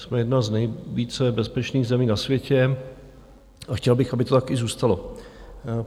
Jsme jedna z nejvíce bezpečných zemí na světě a chtěl bych, aby to taky i zůstalo.